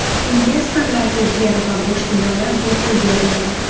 Investorlarga yer va bo‘sh binolar bepul beriladi.